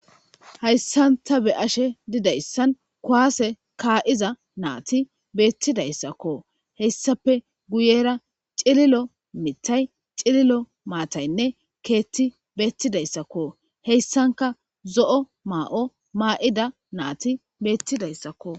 hayssanta be ashe didayssan kuwaase kaa7iza naati beettidayssakko heyssape guyera cililo mitay cililo maataynne keetti beettidayssakko heyssanka zo7o maa7o maa7ida naati beettidayssakko